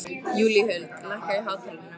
Júlíhuld, lækkaðu í hátalaranum.